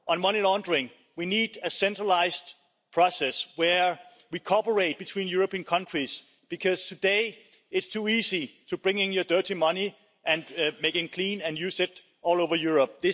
On money laundering, we need a centralised process where we cooperate between European countries, because today it's too easy to bring your dirty money and make it clean and use it all over Europe.